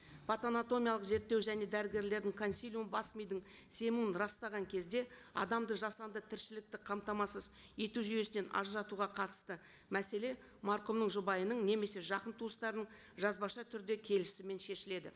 патоанатомиялық зерттеу және дәрігерлердің консилиумы бас мидың семуін растаған кезде адамды жасанды тіршілікті қамтамасыз ету жүйесінен ажыратуға қатысты мәселе марқұмның жұбайының немесе жақын туыстарының жазбаша түрде келісімімен шешіледі